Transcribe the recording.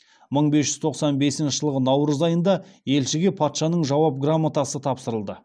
мың бес жүз тоқсан бесінші жылғы наурыз айында елшіге патшаның жауап грамотасы тапсырылды